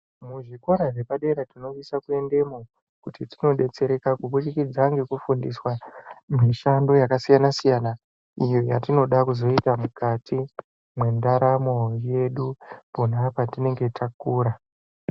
Muzvikora zvepadera tinosise kuendamo kodetsereka kubudikidza ngekufundiswa mishando yakasiyana-siyana, iyo yatinoda kuzoita mukati mendaramo yedu pona petinenge takura.